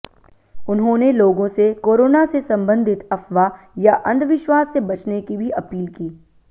उन्होंने लोगों से कोरोना से संबंधित अफवाह या अंधविश्वास से बचने की भी अपील की